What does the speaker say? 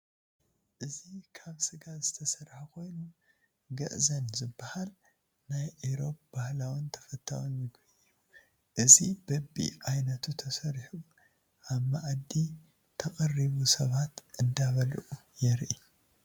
እዚ ካብ ስጋ ዝተሰርሐ ኮይኑ ግዕዘን ዝበሃል ናይ ኢሮብ ባህላውን ተፈታውን ምግቢ እየ፡፡ እዚ በቢ ዓይነቱ ተሰሪሑ አብ መአዲ ተቀሪቡ ሰባት እንዳበልዑ የርኢ፡፡